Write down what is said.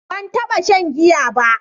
Ban taɓa shan giya ba.